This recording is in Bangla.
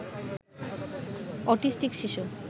অটিস্টিক শিশু